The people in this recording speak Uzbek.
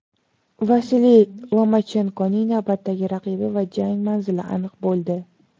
Vasiliy Lomachenkoning navbatdagi raqibi va jang manzili aniq bo‘ldi.